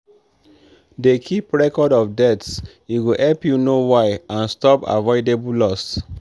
dey keep record of deaths e go help you know why and stop avoidable loss.